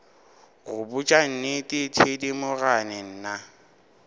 go botša nnete thedimogane nna